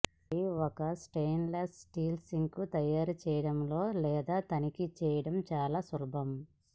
మరియు ఒక stainless steel sink తయారు చేయాలో లేదో తనిఖీ చేయడం చాలా సులభం